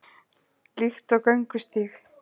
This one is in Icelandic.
Líkt og göngustíg